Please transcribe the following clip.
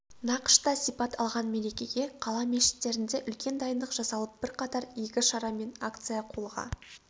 нақышта сипат алған мерекеге қала мешіттерінде үлкен дайындық жасалып бірқатар игі шара мен акция қолға